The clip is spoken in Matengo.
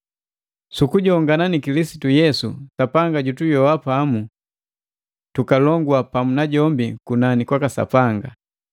Su kujongana ni Kilisitu Yesu, Sapanga jutuyoa pamu, tukalongua pamu najombi kunani kwaka Sapanga.